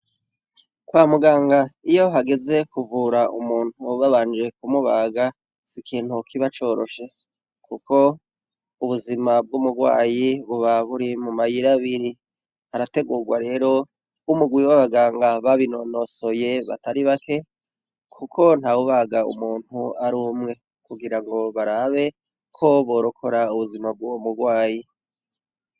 Kwa muganga, iyo hageze kuvura umuntu babanje kumubaga, si ikintu kibacoroshe kuko ubuzima bw'umurwayi buba buri mu mayira abiri. Harategurwa rero umurwi w'abaganga babinonosoye batari bake kuko ntawubaga umuntu ari umwe, kugira ngo barabe ko borokora ubuzima bw'uwo murwayi.